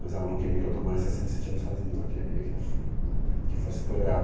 Mas ela não queria que eu tomasse essa iniciativa sozinho, ela queria que eu f, que fosse por ela.